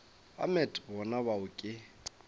ba met bona bao ke